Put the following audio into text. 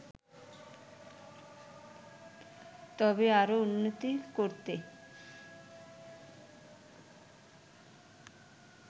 তবে আরও উন্নতি করতে